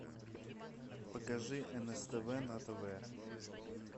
покажи нств на тв